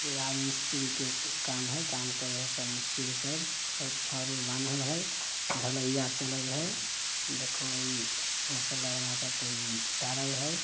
ये राज मिस्त्री के काम हेय काम करे हेय सब मिस्त्री सब छड़ उर बानहल हेय ढलाईया चलय हेयदेखो इ मसला बना को इ धरे हेय।